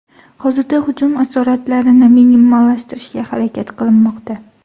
Hozirda hujum asoratlarini minimallashtirishga harakat qilinmoqda.